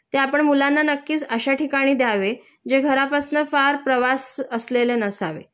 ते आपण मुलांना नक्कीच अश्या ठिकाणी द्यावे जे घरापासनं फार प्रवास असलेले नसावे